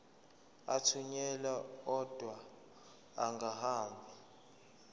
athunyelwa odwa angahambi